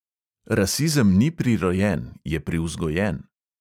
Rasizem ni prirojen, je privzgojen.